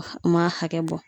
u m'a hakɛ bɔ.